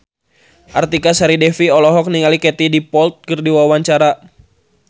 Artika Sari Devi olohok ningali Katie Dippold keur diwawancara